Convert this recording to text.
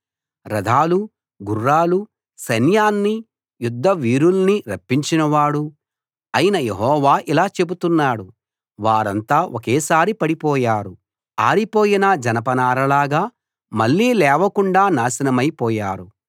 రథాలూ గుర్రాలూ సైన్యాన్నీ యుద్ధవీరుల్నీ రప్పించినవాడూ అయిన యెహోవా ఇలా చెబుతున్నాడు వారంతా ఒకేసారి పడిపోయారు ఆరిపోయిన జనపనారలాగా మళ్ళీ లేవకుండా నాశనమైపోయారు